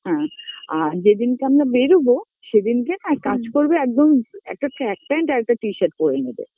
হ্যাঁ আর যেদিন কে আমরা বেরোবো, সেদিনকে এক কাজ করবে একদম একটা track pant t-shirts পরে নেবে